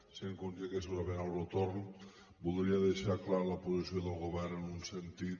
sent conscient que segurament obro torn voldria deixar clara la posició del govern en un sentit